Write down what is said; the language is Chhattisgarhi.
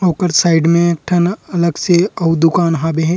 ओकर साइड में एक ठन अलग से आऊ दुकान हावे--